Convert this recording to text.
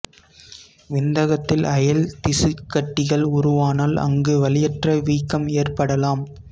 விந்தகத்தில் அயல் திசுக் கட்டிகள் உருவானால் அங்கு வலியற்ற வீக்கம் ஏற்படலாம்